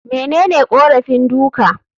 Menene korafin duka?